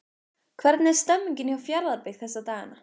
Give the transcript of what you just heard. Hvernig er stemningin hjá Fjarðabyggð þessa dagana?